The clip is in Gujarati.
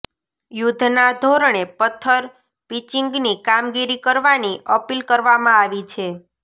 યુધ્ધના ધોરણે પથ્થર પીંચીગની કામગીરી કરવાની અપીલ કરવામાં આવી છે